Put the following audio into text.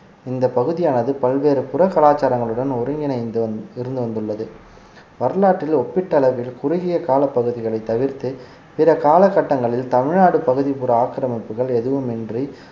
இந்த பகுதியானது பல்வேறு புற கலாச்சாரங்களுடன் ஒருங்கிணைந்து வந்~ இருந்து வந்துள்ளது வரலாற்றில் ஒப்பிட்ட அளவில் குறுகிய காலப் பகுதிகளைத் தவிர்த்து பிற காலகட்டங்களில் தமிழ்நாடு பகுதிப்புற ஆக்கிரமிப்புகள் எதுவுமின்றி